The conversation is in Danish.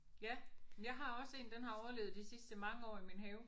Ja jeg har også en den har overlevet de sidste mange år i min have